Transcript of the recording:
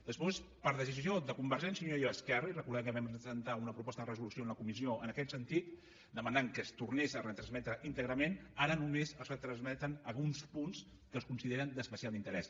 després per decisió de convergència i unió i esquerra i recordem que vam presentar una proposta de resolució a la comissió en aquest sentit demanant que es tornés a retransmetre íntegrament ara només retransmeten alguns punts que es consideren d’especial interès